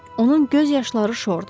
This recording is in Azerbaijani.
Onun göz yaşları şordur.